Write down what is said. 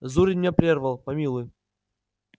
зурин меня прервал помилуй